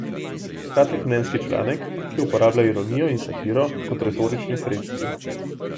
Kratek mnenjski članek, ki uporablja ironijo in satiro kot retorični sredstvi.